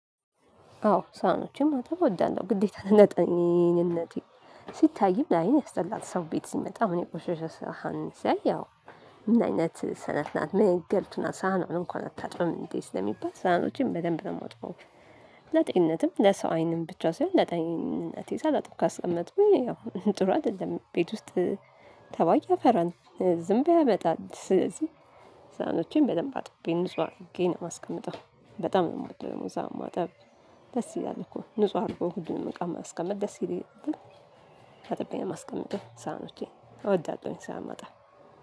አዎ ሳኖቹን ማጠብ እወዳለሁ ግዴታ ጤንነቴ ሲታይም ላይን ያስጠላል። ሰው ቤት ሲመጣ አሁን የቆሸሸ ሰሃን ሲያይ ያው ምነረ አይነት ነነፍ ናት። ምን አይነት ገልቱ ናት ሳህኗን እንኳን አታጥብም እንዴ? ስለሚባል ሰህኖቸን በደንብ የማጥበው። ለጤንነትም ለሰው አይንም ብቻ ሳይሆን ለጤንነት ይዛ ለጥብ ካሰመጥኩኝ ያው ጥሩ አይደለም። ቤት ውስጥ ተባያ ያፈል ዝምብ ያመጣል። ስለዚህ ሰህኖቸን በደንብ አጥቤ ንጹህ አድጌ ነው ማስቀምጠው በጣም ነው የምወደው። ሰሃን ማጠብ ደስ ይላል እኮ ንጹህ አድርጎ ሁሉንም እቃ ማስቀመጥ ደስ ይላል። አጥቤ ነው ማስቀመጥ ሳህኖቼ እወዳለሁኝ ሳህን ማጠብ